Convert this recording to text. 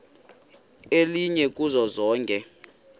elinye kuzo zonke